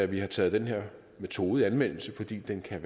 vi har taget den her metode i anvendelse fordi den er